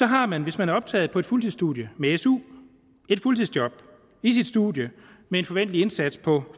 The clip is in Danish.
har man hvis man er optaget på et fuldtidsstudie med su et fuldtidsjob i sit studie med en forventelig indsats på